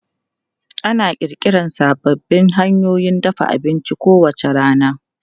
Ana ƙirƙira sababbin hanyoyin dafa abinci kowace rana.